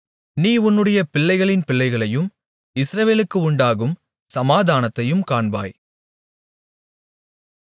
நீ உன்னுடைய பிள்ளைகளின் பிள்ளைகளையும் இஸ்ரவேலுக்கு உண்டாகும் சமாதானத்தையும் காண்பாய்